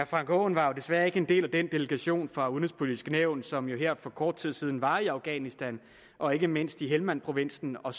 frank aaen var desværre ikke en del af den delegation fra udenrigspolitisk nævn som her for kort tid siden var i afghanistan og ikke mindst i helmandprovinsen og